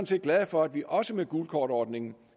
set glade for at vi også med gult kort ordningen